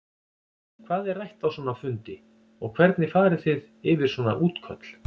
Hvað er rætt á svona fundi og hvernig fari þið yfir svona útköll?